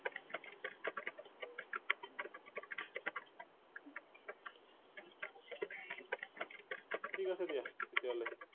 ঠিক আছে দিয়া তেতিয়াহলে